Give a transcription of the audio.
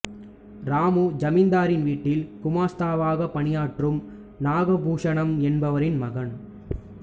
ராமு ஜமீன்தாரின் வீட்டில் குமாஸ்தாவாக பணியாற்றும் நாகபூஷணம் என்பவரின் மகன்